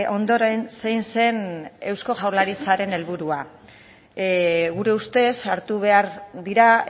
ondoren zein zen eusko jaurlaritzaren helburua gure ustez hartu behar dira